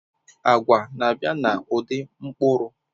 Agwa na-abịa n'ụdị mkpụrụ